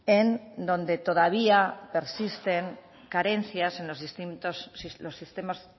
en donde todavía persisten carencias en los